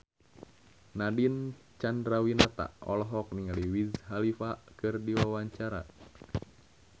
Nadine Chandrawinata olohok ningali Wiz Khalifa keur diwawancara